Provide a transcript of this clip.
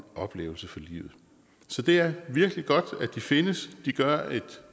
oplevelse for livet så det er virkelig godt at de findes de gør et